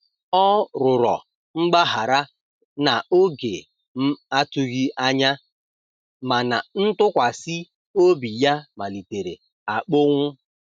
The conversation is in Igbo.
Ọ rụrọ mgbahara na oge m atughi anya, mana ntụkwasi obi ya malitere akponwụ